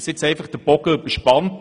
Der Bogen ist überspannt.